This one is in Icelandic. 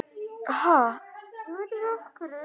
Gleymdi öllu öðru.